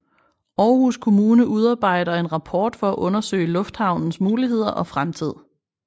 Aarhus Kommune udarbejder en rapport for at undersøge lufthavnens muligheder og fremtid